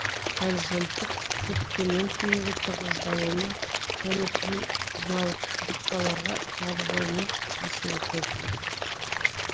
горизонттың кепкеннен кейінгі тығыздалуына және призмалық жақпарларға жарылуына әсер етеді